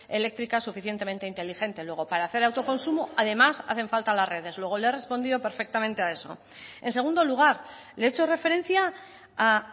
eléctrica suficientemente inteligente luego para hacer autoconsumo además hacen falta las redes luego le he respondido perfectamente a eso en segundo lugar le he hecho referencia a